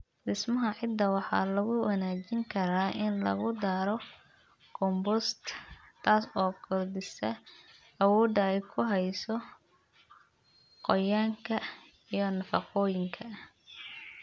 Dhismaha ciidda waxa lagu wanaajin karaa in lagu daro compost, taas oo kordhisa awoodda ay ku hayso qoyaanka iyo nafaqooyinka.